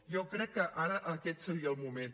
jo crec que ara aquest seria el moment